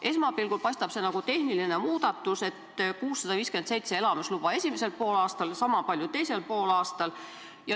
Esmapilgul paistab see olevat tehniline muudatus: 657 elamisluba esimesel poolaastal, sama palju teisel poolaastal.